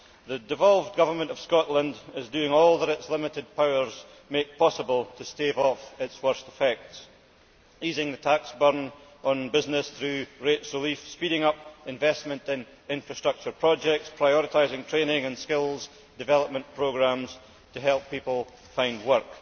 The devolved Government of Scotland is doing all that its limited powers make possible to stave off its worst effects, easing the tax burden on business through rates relief, speeding up investment in infrastructure projects, and prioritising training and skills development programmes to help people find work.